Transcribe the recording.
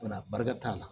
Wala barika t'a la